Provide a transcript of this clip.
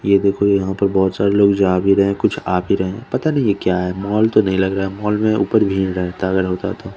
ये देखो यहाँ पे बहोत सारे लोग जा भी रहे है कुछ आ भी रहे है पता नही ये क्या है मॉल तो नि लग रहा है मॉल में उपर भीड़ है टावर होता तो --